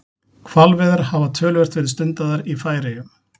Hvalveiðar hafa töluvert verið stundaðar í Færeyjum.